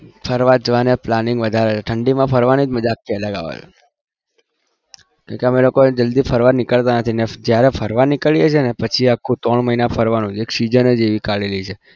ફરવા જવાના planning વધારે ઠંડીમાં ફરવાની મજા જ આખી અલગ આવે છે કેમ કે અમે લોકો જલ્દી ફરવા નીકળતા નથી અને જયારે ફરવા નીકળીએ છીએ ને પછી આખું ત્રણ મહિના ફરવાનું જ એક season જ એવી કાઢેલી છે.